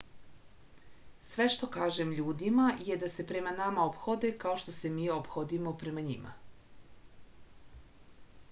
sve što kažem ljudima je da se prema nama ophode kao što se mi ophodimo prema njima